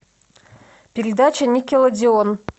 передача никелодеон